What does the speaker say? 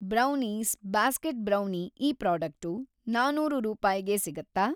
Brownies basket brownie ಈ product ನಾನೂರು ರೂಪಾಯ್ಗೆ ಸಿಗತ್ತಾ?